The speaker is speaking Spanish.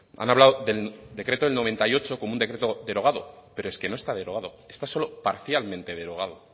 han hablado del decreto del noventa y ocho como un decreto derogado pero es que no está derogado está solo parcialmente derogado